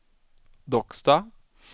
Docksta